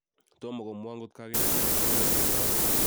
Tomo komwaa ngot kakindee jela eng emet tugul twai